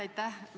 Aitäh!